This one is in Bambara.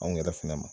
Anw yɛrɛ fɛnɛ ma